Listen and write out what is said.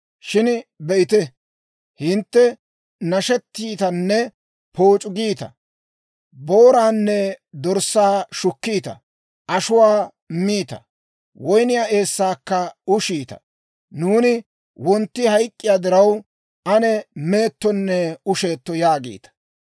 Shin be'ite, hintte nashettiitanne pooc'u giita; booraanne dorssaa shukkiita; ashuwaa miita; woyniyaa eessaakka ushiita; «Nuuni wontti hayk'k'iyaa diraw, ane meettonne usheeto» yaagiita.